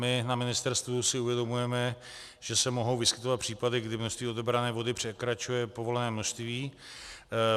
My na ministerstvu si uvědomujeme, že se mohou vyskytovat případy, kdy množství odebrané vody překračuje povolené množství.